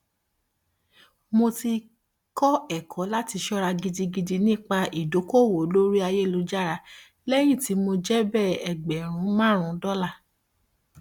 mo ti kọ ẹkọ láti ṣọra gidigidi nígbà ìdókòòwò lórí ayélújára lẹyìn tí mo jèbẹ ẹgbẹrún márùnún dọlà